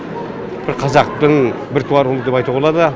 бір қазақтың бір туар ұлы деп айтуға болады